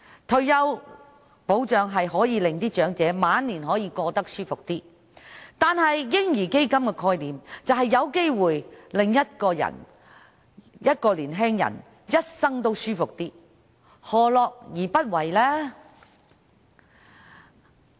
退休保障讓長者的晚年過得舒服一些，而"嬰兒基金"的概念則有機會讓年青人的一生過得舒服一些，何樂而不為呢？